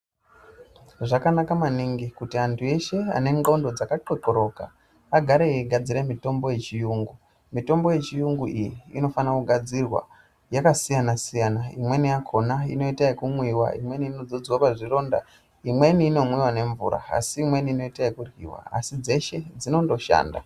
Zvakanaka maningi kuti antu eshe anendxondo dzakatxotxoroka agare eigadzira mitombo yechiyungu. Mitombo yechiyungu iyi inofana kugadzirwa yakasiyana-siyana. imweni yakona inoita yekumwiva, imweni inodzodzwa pazvironda, imweni inomwiva nemvura. Asi imweni inoita yekuryiva asi dzeshe dzinondoshanda.